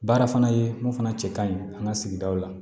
Baara fana ye mun fana cɛ ka ɲi an ka sigidaw la